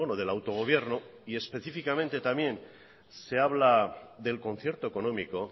del autogobierno y específicamente también se habla del concierto económico